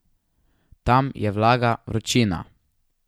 Tam je vlaga, vročina.